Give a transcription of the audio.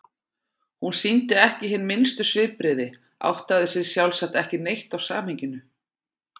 Hún sýndi ekki hin minnstu svipbrigði, áttaði sig sjálfsagt ekki neitt á samhenginu.